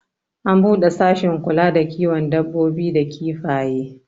an bude sashin kula da kiwon dabbobi da kifaye